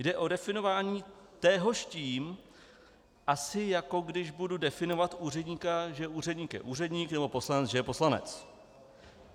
Jde o definování téhož tím, asi jako když budu definovat úředníka, že úředník je úředník nebo poslanec že je poslanec.